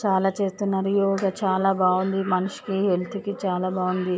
చాల చేస్తున్నారు యోగ చాల బాగుంది మనిషికి హెల్త్ కి చాలా బాగుంది .